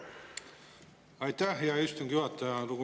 Aitäh, hea istungi juhataja!